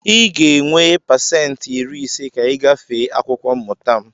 Ị ga-enwe pasentị iri ise ka ị gafee akwụkwọ mmụta m!